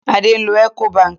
Adé ń lo Ecobank.